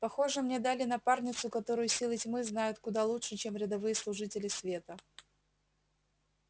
похоже мне дали напарницу которую силы тьмы знают куда лучше чем рядовые служители света